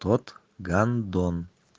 тот гандон